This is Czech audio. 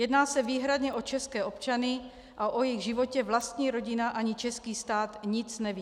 Jedná se výhradně o české občany a o jejich životě vlastní rodina ani český stát nic neví.